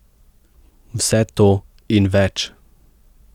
Vse to in več.